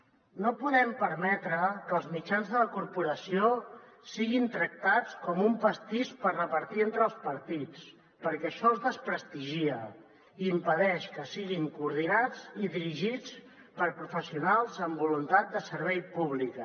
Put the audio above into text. no podem permetre que els mitjans de la corporació siguin tractats com un pastís per repartir entre els partits perquè això els desprestigia i impedeix que siguin coordinats i dirigits per professionals amb voluntat de servei públic